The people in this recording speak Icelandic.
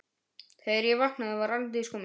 Þegar ég vaknaði aftur var Arndís komin.